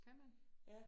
Kan man?